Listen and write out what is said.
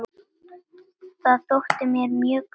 Það þótti mér mjög gaman.